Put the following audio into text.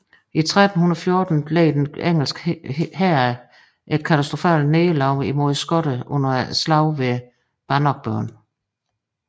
I 1314 led den engelske hær et katastrofalt nederlag mod skotterne under slaget ved Bannockburn